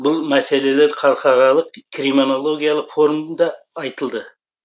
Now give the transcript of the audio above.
бұл мәселелер халықаралық кримонологиялық форумда айтылды